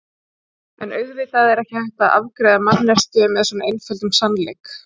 En auðvitað er ekki hægt að afgreiða manneskju með svo einföldum sannleik.